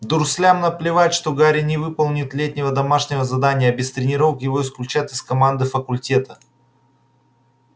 дурслям наплевать что гарри не выполнит летнего домашнего задания а без тренировок его исключат из команды факультета